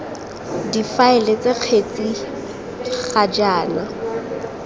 difaele ts kgetsi ga jaana